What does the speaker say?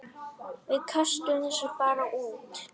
Við köstum þessu bara út.